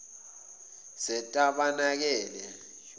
zetabanekele